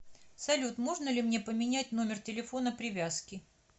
салют можно ли мне поменять номер телефона привязки